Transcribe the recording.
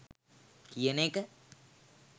කියන එක.